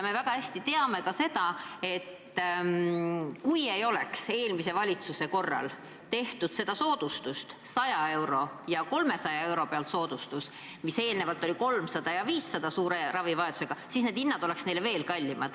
Me väga hästi teame, et kui ei oleks eelmise valitsuse ajal otsustatud hüvitada aastas 100 eurot ja 300 eurot ületavate ravimiarvete korral suurem osa hinnast – varem kehtisid summad 300 ja 500 –, siis oleksid ravimid inimestele veel kallimad.